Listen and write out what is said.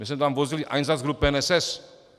My jsme tam vozili Einsatzgruppen SS.